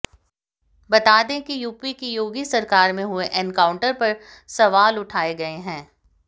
बता दें कि यूपी की योगी सरकार में हुए एनकाउंटर पर सवाल उठाए गए हैं